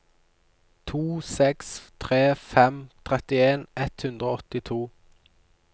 to seks tre fem trettien ett hundre og åttito